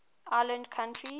island countries